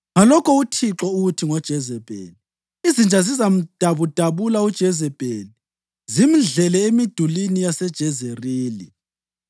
Ngalokho uThixo uthi ngoJezebheli: ‘Izinja zizamdabudabula uJezebheli zimdlele emidulini yaseJezerili.’